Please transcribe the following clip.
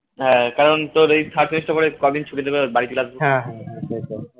হ্যাঁ কারণ তোর এই third semester এর পরে কদিন ছুটি দেবে বাড়ি চলে আসবো